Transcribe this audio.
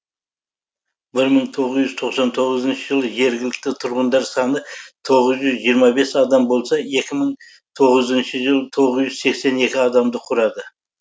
бір мың тоғыз жүз тоқсан тоғызыншы жылы жергілікті тұрғындар саны тоғыз жүз жиырма бес адам болса екі мың тоғызыншы жылы тоғыз жүз сексен екі адамды құрады